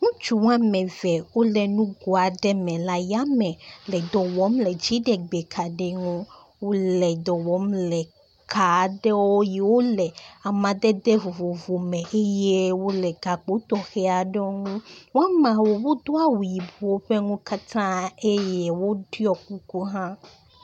Ŋutsu wome eve wole nugo aɖe me le ayame le dɔ wɔm le dziɖegbekaɖi ŋu. Wole dɔ wɔm le ka aɖe yi wole amadede vovovo me eye wole gakpo tɔxɛ aɖe ŋu. Wo ameawo wodo awu yibɔ ƒe nu katã eye woɖuɔ kuku hã.